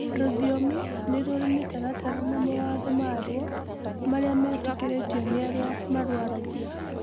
rũthiomi nĩrurĩ mĩtaratara na mawatho maruo maria metĩkĩrĩtio ni aria mararũaragia.